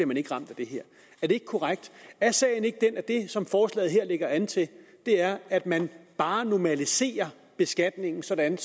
man ikke ramt af det her er det ikke korrekt er sagen ikke den at det som forslaget her lægger an til er at man bare normaliserer beskatningen sådan